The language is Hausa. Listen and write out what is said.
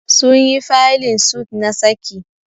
Sun yi faylin suit na saki